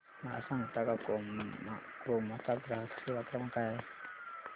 मला सांगता का क्रोमा चा ग्राहक सेवा क्रमांक काय आहे